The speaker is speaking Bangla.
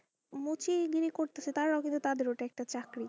মুচি দিল করতাছে তারাও কিন্তু তাদের ওটা একটা চাকরি,